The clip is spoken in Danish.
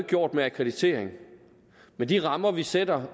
gjort med akkreditering men de rammer vi sætter